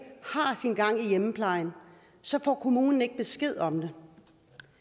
har sin gang i hjemmeplejen så får kommunen ikke besked om jeg